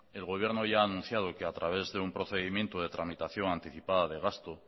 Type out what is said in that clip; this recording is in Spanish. el gobierno ya ha anunciado que a través de un procedimiento de tramitación anticipada de gasto